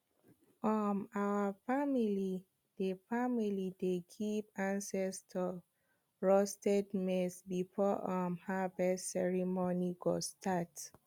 um our family dey family dey give ancestors roasted maize before um harvest ceremony go start